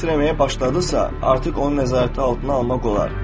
Bu dəfə titrəməyə başladısa, artıq onu nəzarət altına almaq olar.